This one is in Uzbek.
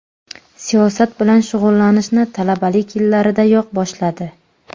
Siyosat bilan shug‘ullanishni talabalik yillaridayoq boshladi.